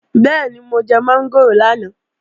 Bẹ́ẹ̀ni, mo jẹ mọ́ngòrò lánàá